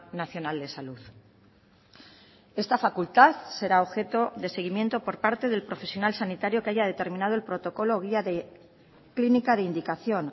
nacional de salud esta facultad será objeto de seguimiento por parte del profesional sanitario que haya determinado el protocolo guía clínica de indicación